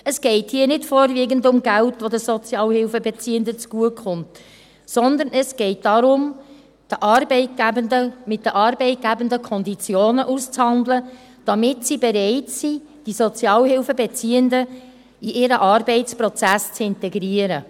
Es geht hier nicht vorwiegend um Geld, das den Sozialhilfebeziehenden zugutekommt, sondern es geht darum, mit den Arbeitgebenden Konditionen auszuhandeln, damit sie bereit sind, die Sozialhilfebeziehenden in ihren Arbeitsprozess zu integrieren.